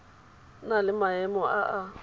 na le maemo a a